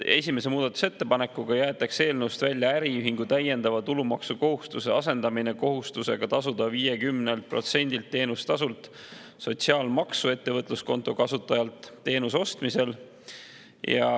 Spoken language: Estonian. Esimese muudatusettepanekuga jäetakse eelnõust välja äriühingu täiendava tulumaksukohustuse asendamine kohustusega tasuda 50%-lt teenustasult sotsiaalmaksu ettevõtluskonto kasutajalt teenuse ostmisel.